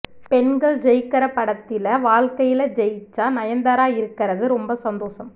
பெண்கள் ஜெயிக்கற படத்தில வாழ்க்கையில ஜெயிச்ச நயன்தாரா இருக்கறது ரொம்ப சந்தோஷம்